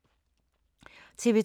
TV 2